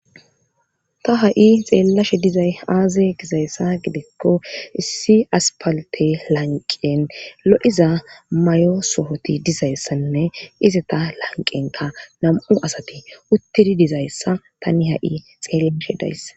ta ha'i xeellashe dizay aaze gizayssa gidikko issi aspalte lanqen lo;iza mayo sohoti dizayssanne iza ta lanqenka nam'u asati uttidi dizayssa tani ha'i xeellashe dayss